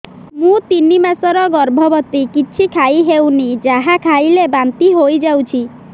ମୁଁ ତିନି ମାସର ଗର୍ଭବତୀ କିଛି ଖାଇ ହେଉନି ଯାହା ଖାଇଲେ ବାନ୍ତି ହୋଇଯାଉଛି